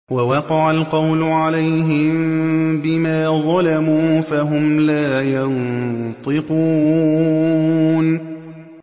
وَوَقَعَ الْقَوْلُ عَلَيْهِم بِمَا ظَلَمُوا فَهُمْ لَا يَنطِقُونَ